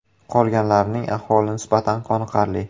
Qolganlarining ahvoli nisbatan qoniqarli.